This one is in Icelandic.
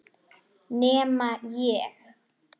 Nema ég.